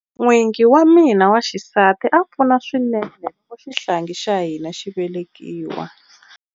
N'wingi wa mina wa xisati a pfuna swinene loko xihlangi xa hina xi velekiwa.